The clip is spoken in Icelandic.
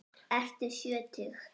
Ertu sjötug?